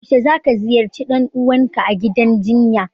Yaushe zaka ziyarci dan uwanku a gidan jinya?